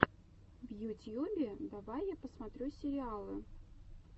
в ютьюбе давай я посмотрю сериалы